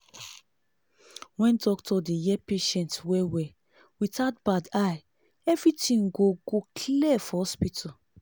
when doctor dey hear patient well-well without bad eye everything go go clear for hospital.